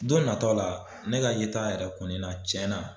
Don natɔw la ne ka yeta yɛrɛ kɔnina cɛnna